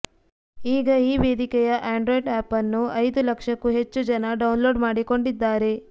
ಈಗ ಈ ವೇದಿಕೆಯ ಆ್ಯಂಡ್ರಾಯ್ಡ್ ಆ್ಯಪ್ಅನ್ನು ಐದು ಲಕ್ಷಕ್ಕೂ ಹೆಚ್ಚು ಜನ ಡೌನ್ಲೋಡ್ ಮಾಡಿಕೊಂಡಿದ್ದಾರೆ